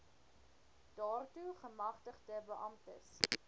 daartoe gemagtigde beamptes